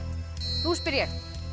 nú spyr ég